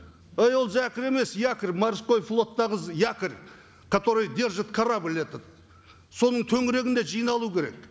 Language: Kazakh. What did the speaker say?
ей ол зәкір емес якорь морской флоттағы якорь который держит корабль этот соның төңірегінде жиналу керек